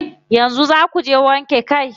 Yanzu zaa kuje wanke kai?